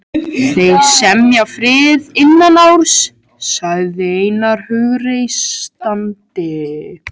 Þeir semja frið innan árs, sagði Einar hughreystandi.